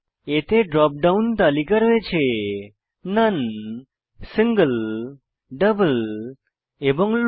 এতে drop down তালিকা রয়েছে নোন সিঙ্গল ডাবল এবং লো